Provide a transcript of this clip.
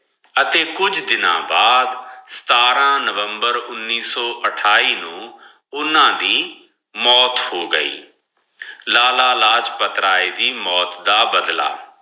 ਅਗੀ ਕੁੰਜ ਦਿਨਾ ਦਾ ਸਾਥ੍ਰਾਂ ਨਵੰਬਰ ਉਨੀਸ ਸੋ ਅਠੇਈ ਨੂ ਓਨਾ ਦੀ ਮੋਤ ਹੋ ਗਈ ਲਾਲਾ ਲਾਜ ਪਾਰ੍ਥ੍ਰਾਯਾਯ ਦੀ ਮੋਤ ਦਾ ਬਦਲਾ